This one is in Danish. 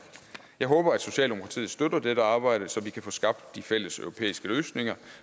jeg håber at socialdemokratiet støtter dette arbejde så vi kan få skabt de fælles europæiske løsninger